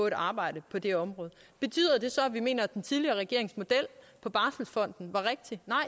et arbejde på det område betyder det så at vi mener at den tidligere regerings model på barselsfonden var rigtig nej